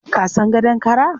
Ka san gadon kara?